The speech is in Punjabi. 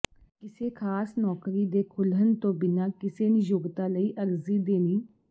ਕਿਸੇ ਖ਼ਾਸ ਨੌਕਰੀ ਦੇ ਖੁੱਲ੍ਹਣ ਤੋਂ ਬਿਨਾਂ ਕਿਸੇ ਨਿਯੋਕਤਾ ਲਈ ਅਰਜ਼ੀ ਦੇਣੀ